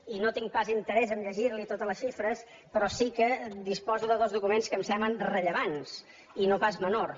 i no tinc pas interès a llegir los totes les xifres però sí que disposo de dos documents que em semblen rellevants i no pas menors